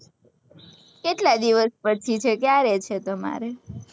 કેટલા દિવસ પછી છે, ક્યારે છે તમારે?